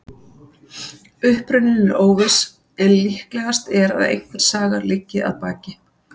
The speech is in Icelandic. Uppruninn er óviss en líklegast er að einhver saga liggi að baki.